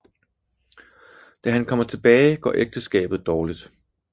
Da han kommer tilbage går ægteskabet dårligt